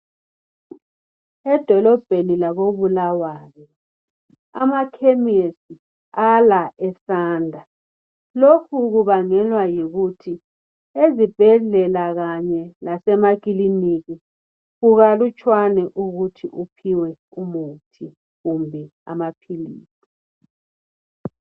Edolobheni lakoBulawayo amakhemisi ala esanda. Lokhu kubangelwa yikuthi ezibhedlela kanye lasemakilinika kukalutshwana ukuthi uphiwe umuthi kumbe amaphilizi.